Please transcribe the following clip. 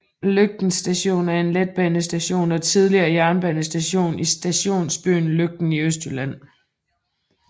Løgten Station er en letbanestation og tidligere jernbanestation i stationsbyen Løgten i Østjylland